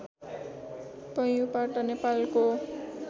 पैयुँपाटा नेपालको